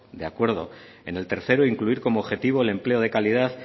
de acuerdo en el tercero incluir como objetivo el empleo de calidad